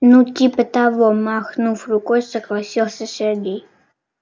ну типа того махнув рукой согласился сергей